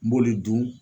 N b'olu dun